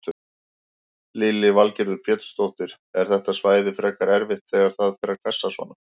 Lillý Valgerður Pétursdóttir: Er þetta svæði frekar erfitt þegar það fer að hvessa svona?